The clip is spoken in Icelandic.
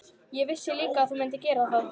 Ég vissi líka að þú mundir gera það.